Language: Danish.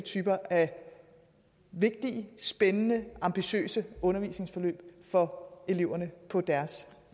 typer af vigtige spændende ambitiøse undervisningsforløb for eleverne på deres